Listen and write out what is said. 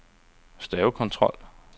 stavekontrol